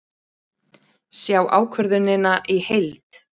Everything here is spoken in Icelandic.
Sjá ákvörðunina í heild